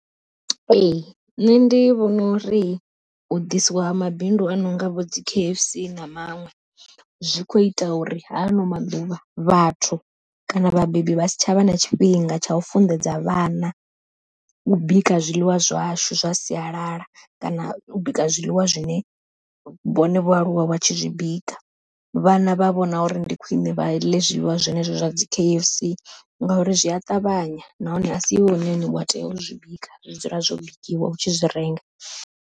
Ee nṋe ndi vhona uri u ḓisiwa mabindu a nonga vho dzi K_F_C na maṅwe, zwi kho ita uri ha ano maḓuvha vhathu kana vhabebi vha si tshavha na tshifhinga tsha u funḓedza vhana u bika zwiḽiwa zwashu zwa sialala, kana u bika zwiḽiwa zwine vhone vho aluwa vha tshi zwi bika. Vhana vha vhona uri ndi khwiṋe vha ḽe zwiḽiwa zwenezwo zwa dzi K_F_C, ngauri zwi a ṱavhanya nahone a si iwe wane wa tea u zwi bika zwi dzula zwo bikiwa u tshi zwi renga.